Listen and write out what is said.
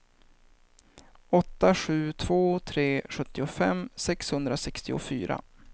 åtta sju två tre sjuttiofem sexhundrasextiofyra